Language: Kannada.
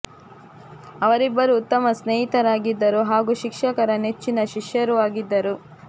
ಅವರಿಬ್ಬರೂ ಉತ್ತಮ ಸ್ನೇಹಿತರಾಗಿದ್ದರು ಹಾಗೂ ಶಿಕ್ಷ ಕರ ನೆಚ್ಚಿನ ಶಿಷ್ಯರೂ ಆಗಿದ್ದರು